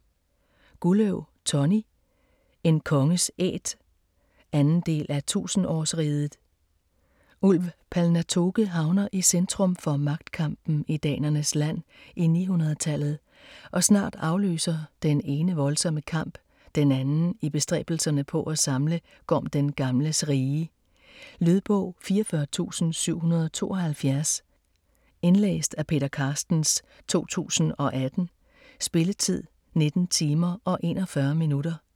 Gulløv, Tonny: En konges æt 2. del af 1000-årsriget. Ulv Palnatoke havner i centrum for magtkampen i danernes land i 900-tallet, og snart afløser det ene voldsomme kamp den anden i bestræbelserne på at samle Gorm den Gamles rige. Lydbog 44772 Indlæst af Peter Carstens, 2018. Spilletid: 19 timer, 41 minutter.